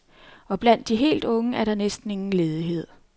Og blandt de helt unge er der næsten ingen ledighed.